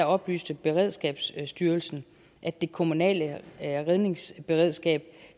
oplyste beredskabsstyrelsen at det kommunale redningsberedskab